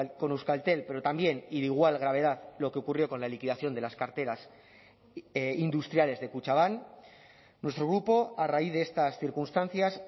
con euskaltel pero también y de igual gravedad lo que ocurrió con la liquidación de las carteras industriales de kutxabank nuestro grupo a raíz de estas circunstancias